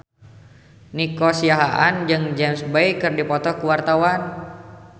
Nico Siahaan jeung James Bay keur dipoto ku wartawan